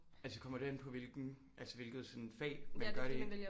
Altså kommer det an på hvilken altså hvilket sådan fag man gør det